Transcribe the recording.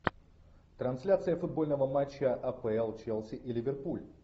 трансляция футбольного матча апл челси и ливерпуль